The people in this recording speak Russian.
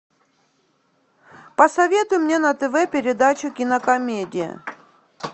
посоветуй мне на тв передачу кинокомедия